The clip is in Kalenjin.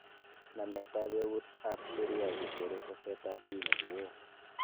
Nametab eut ab Sharia che tere saset ab dini kowoo